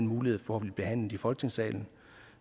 mulighed for at blive behandlet i folketingssalen